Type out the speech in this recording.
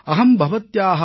बहूत्तमम् बहूत्तमम्